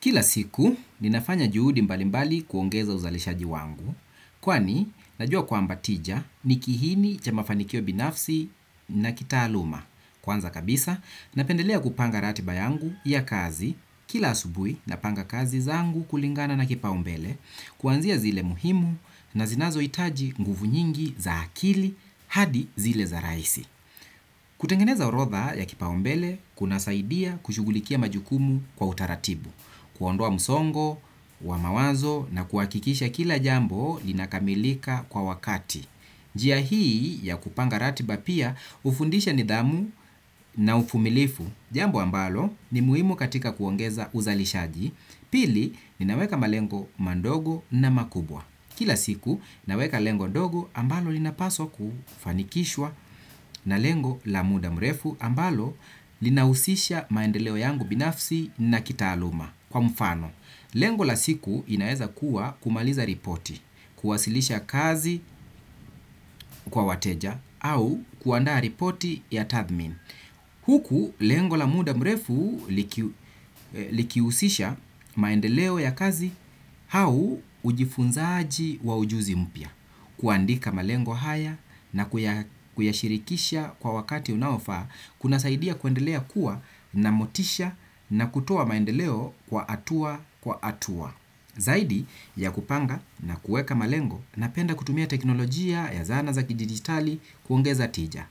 Kila siku, ninafanya juhudi mbali mbali kuongeza uzalishaji wangu, kwani najua kwamba tija nikihini cha mafanikio binafsi na kitaaluma. Kwanza kabisa, napendelea kupanga ratiba yangu ya kazi kila asubui na panga kazi zangu kulingana na kipaumbele, kuanzia zile muhimu na zinazo itaji nguvu nyingi za akili hadi zile za raisi. Kutengeneza orodha ya kipaombele kunasaidia kushugulikia majukumu kwa utaratibu. Kuondoa musongo, wa mawazo na kuakikisha kila jambo linakamilika kwa wakati. Njia hii ya kupanga ratiba pia ufundisha nidhamu na ufumilifu. Jambo ambalo ni muhimu katika kuongeza uzalishaji. Pili ninaweka malengo mandogo na makubwa. Kila siku naweka lengo dogo ambalo linapaswa kufanikishwa na lengo la muda mrefu ambalo linahusisha maendeleo yangu binafsi na kitaaluma kwa mfano. Lengo la siku inaeza kuwa kumaliza ripoti, kuwasilisha kazi kwa wateja au kuandaa ripoti ya tathmin. Huku lengo la muda mrefu likiusisha maendeleo ya kazi au ujifunzaaji wa ujuzi mpya. Kuandika malengo haya na kuyashirikisha kwa wakati unaofaa, kuna saidia kuendelea kuwa na motisha na kutoa maendeleo kwa atua kwa atua. Zaidi ya kupanga na kuweka malengo napenda kutumia teknolojia ya zana za kidigitali kuongeza tija.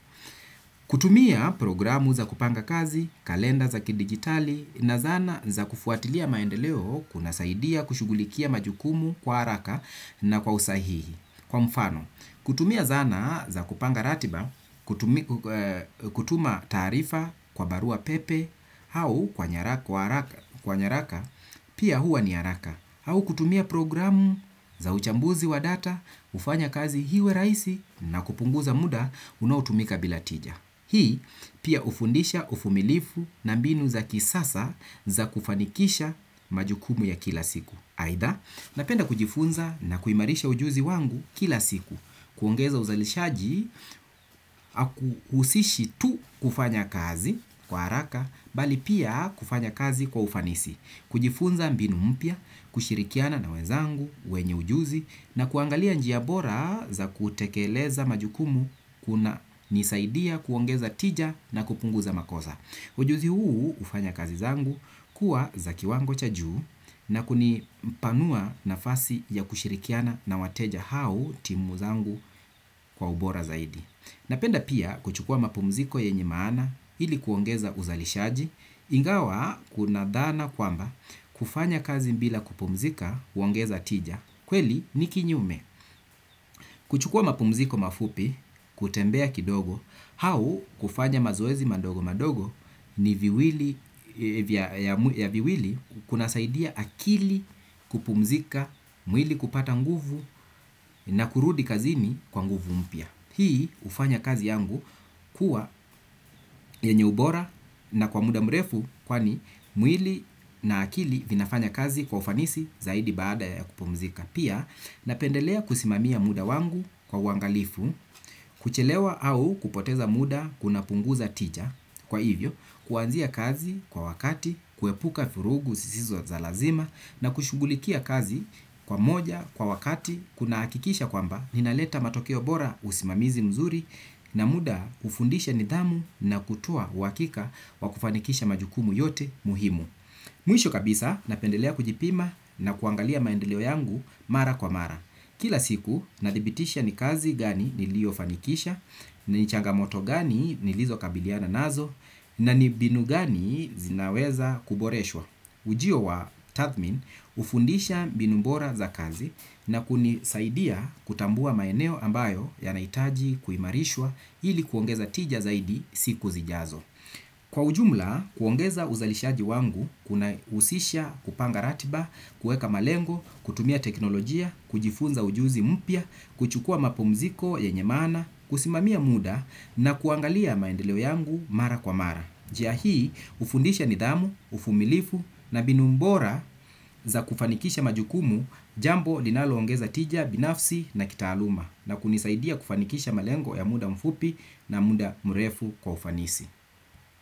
Kutumia programu za kupanga kazi, kalenda za kidigitali na zana za kufuatilia maendeleo kunasaidia kushugulikia majukumu kwa haraka na kwa usahihi. Kwa mfano, kutumia zana za kupanga ratiba, kutuma taarifa kwa barua pepe, hau kwa nyaraka, pia hua ni haraka, hau kutumia programu za uchambuzi wa data, ufanya kazi hiwe raisi na kupunguza muda unaotumika bila tija. Hii pia ufundisha ufumilifu na mbinu za kisasa za kufanikisha majukumu ya kila siku. Aidha, napenda kujifunza na kuimarisha ujuzi wangu kila siku. Kuongeza uzalishaji, usiishi tu kufanya kazi kwa haraka bali pia kufanya kazi kwa ufanisi kujifunza mbinu mpya, kushirikiana na wezangu, wenye ujuzi na kuangalia njiabora za kutekeleza majukumu kuna nisaidia kuongeza tija na kupunguza makosa. Ujuzi huu ufanya kazi zangu kuwa za kiwango cha juu na kunipanua nafasi ya kushirikiana na wateja au timu zangu kwa ubora zaidi. Napenda pia kuchukua mapumziko yenye maana ili kuongeza uzalishaji. Ingawa kunadhana kwamba kufanya kazi mbila kupumzika huongeza tija kweli ni kinyume kuchukua mapumziko mafupi kutembea kidogo hau kufanya mazoezi madogo madogo ni viwili kuna saidia akili kupumzika mwili kupata nguvu na kurudi kazini kwa nguvu mpya. Hii ufanya kazi yangu kuwa yenye ubora na kwa muda mrefu kwani mwili na akili vinafanya kazi kwa ufanisi zaidi baada ya kupumzika. Pia napendelea kusimamia muda wangu kwa uwangalifu, kuchelewa au kupoteza muda kunapunguza tija. Kwa hivyo, kuanzia kazi kwa wakati, kuepuka vurugu sisizo za lazima na kushugulikia kazi kwa moja kwa wakati kunahakikisha kwamba ninaleta matokeo bora usimamizi mzuri na muda ufundisha nidhamu na kutoa uhakika wa kufanikisha majukumu yote muhimu. Mwisho kabisa napendelea kujipima na kuangalia maendeleo yangu mara kwa mara. Kila siku nadhibitisha ni kazi gani nilio fanikisha, ni changamoto gani nilizo kabiliana nazo, na ni mbinu gani zinaweza kuboreshwa. Ujio wa tathmin ufundisha mbinu mbora za kazi na kunisaidia kutambua maeneo ambayo yanaitaji kuimarishwa ili kuongeza tija zaidi siku zijazo. Kwa ujumla, kuongeza uzalishaji wangu kuna usisha kupanga ratiba, kueka malengo, kutumia teknolojia, kujifunza ujuzi mpya, kuchukua mapumziko yenye maana, kusimamia muda na kuangalia maendeleo yangu mara kwa mara. Jia hii ufundisha nidhamu, ufumilifu na mbinu mbora za kufanikisha majukumu jambo linaloongeza tija, binafsi na kitaaluma na kunisaidia kufanikisha malengo ya muda mfupi na muda mrefu kwa ufanisi.